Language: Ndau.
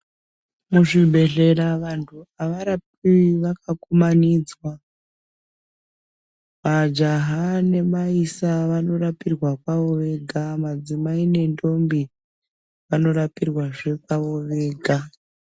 Mu zvibhehlera vantu ava rapiwi vaka kumanidzwa majaha ne maisa vano rapirwa kwavo vega madzimai ne ndombi vano rapirwa zve kwavo vega.